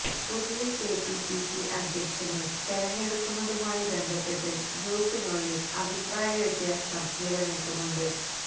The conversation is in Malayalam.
പുതിയ കെപിസിസി അധ്യക്ഷനെ തെരഞ്ഞെടുക്കുന്നതുമായി ബന്ധപ്പെട്ട് ഗ്രൂപ്പിനുള്ളില് അഭിപ്രായ വ്യത്യാസം നിലനില്ക്കുന്നുണ്ട്